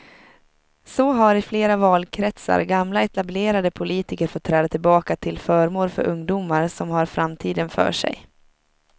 Så har i flera valkretsar gamla etablerade politiker fått träda tillbaka till förmån för ungdomar som har framtiden för sig.